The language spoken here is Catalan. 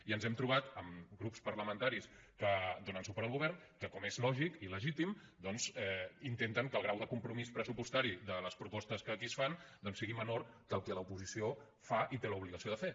i ens hem trobat amb grups parlamentaris que donen suport al govern que com és lògic i legítim doncs intenten que el grau de compromís pressupostari de les propostes que aquí es fan doncs sigui menor que el que l’oposició fa i té l’obligació de fer